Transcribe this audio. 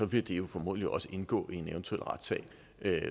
vil det jo formodentlig også indgå i en eventuel retssag